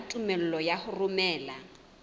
ya tumello ya ho romela